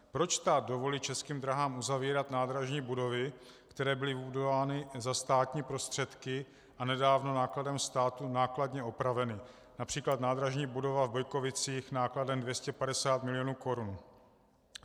Proč stát dovolí Českým dráhám uzavírat nádražní budovy, které byly budovány za státní prostředky a nedávno nákladem státu nákladně opraveny, například nádražní budova v Bojkovicích nákladem 250 milionů korun?